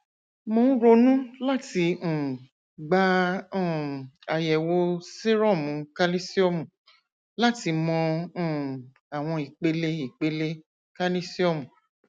mo n ronu lati um gba um ayẹwo serum kalisiomu lati mọ um awọn ipele ipele kalisiomu